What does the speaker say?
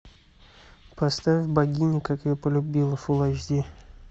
поставь богиня как я полюбила фулл айч ди